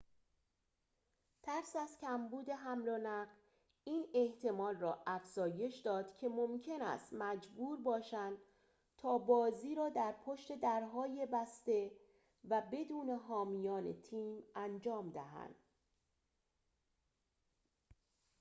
ترس از کمبود حمل‌ونقل این احتمال را افزایش داد که ممکن است مجبور باشند تا بازی را در پشت درهای بسته و بدون حامیان تیم انجام دهند